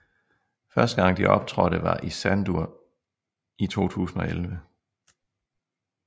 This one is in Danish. Første gang de optrådte var i Sandur i 2011